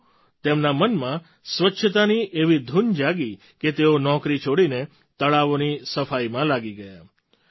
પરંતુ તેમના મનમાં સ્વચ્છતાની એવી ધૂન જાગી કે તેઓ નોકરી છોડીને તળાવોની સફાઈમાં લાગી ગયા